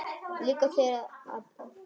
Líka þegar að illa árar?